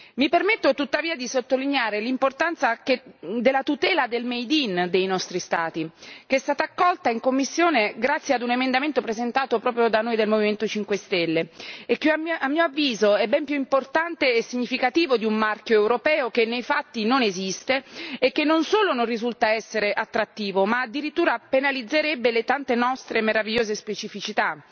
Mi permetto, tuttavia, di sottolineare l'importanza della tutela del made in dei nostri Stati, che è stata accolta in commissione grazie ad un emendamento presentato proprio da noi del Movimento 5 stelle, e che a mio avviso è ben più importante e significativo di un marchio europeo, che nei fatti non esiste e che non solo non risulta essere attrattivo, ma addirittura penalizzerebbe le tante nostre meravigliose specificità.